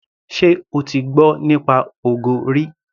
Ṣé o ti gbọ́ nípa ogo rí.